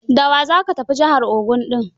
Da wa za ka tafi jihar Ogun ɗin?